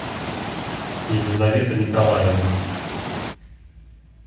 елизавета николаевна